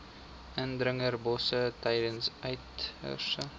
indringerbosse tydens uiterste